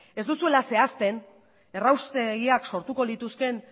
ez duzuela zehazten erraustegiak sortuko lituzkeen